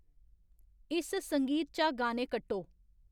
इस संगीत चा गाने कट्टो